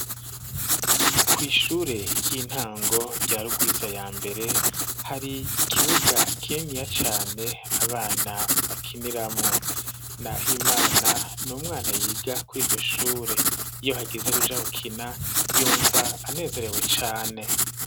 Kw'ishure ry'intango rya Rugwiza ya mbere, hari ikibuga kininiya cane abana bakiniramwo. Nahimana ni umwana yiga kuri iryo shure. Iyo hageze kuja gukina, yumva anezerewe cane.